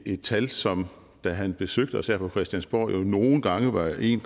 et tal som da han besøgte os her på christiansborg nogle gange var en